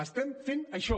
estem fent això